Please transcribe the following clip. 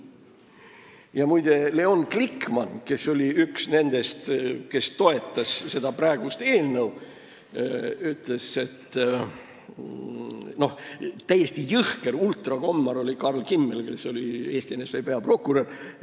Ja muide, Leon Glikman, kes oli üks praeguse eelnõu toetajatest, ütles, et täiesti jõhker ultrakommar oli Karl Kimmel, kes oli Eesti NSV peaprokurör.